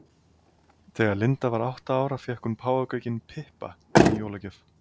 Þegar Linda var átta ára fékk hún páfagaukinn Pippa í jólagjöf.